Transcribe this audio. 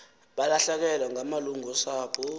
balahlekelwe ngamalungu osapho